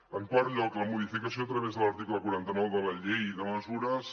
en quart lloc la modificació a través de l’article quaranta nou de la llei de mesures